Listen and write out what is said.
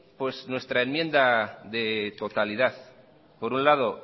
nuestra enmienda de totalidad por un lado